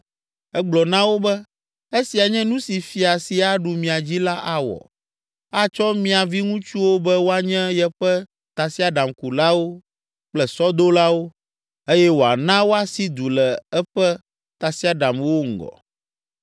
Egblɔ na wo be, “Esia nye nu si fia si aɖu mia dzi la awɔ; atsɔ mia viŋutsuwo be woanye yeƒe tasiaɖamkulawo kple sɔdolawo eye wòana woasi du le eƒe tasiaɖamwo ŋgɔ.